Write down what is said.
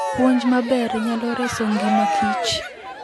Puonj maber nyalo reso ngima Kich.